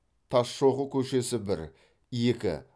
тасшоқы көшесі бір екі